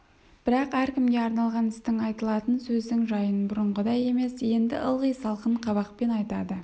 бірақ әркімге арналған істің айтылатын сөздің жайын бұрынғыдай емес енді ылғи салқын қабақпен айтады